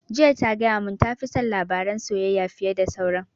Jiya ta gaya mun ta fi son labaran soyayya fiye da sauran